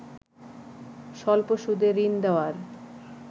স্বল্প সুদে ঋণ দেয়ার